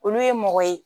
Olu ye mɔgɔ ye